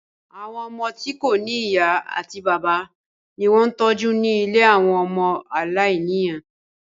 Àwọn ọmọ tí kò ní ìyá àti bàbá ni wọ́n ń tọ́jú ní ilé àwọn ọmọ aláìní ìyá